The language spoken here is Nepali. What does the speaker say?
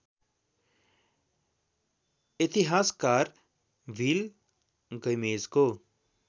इतिहासकार बिल गैमेजको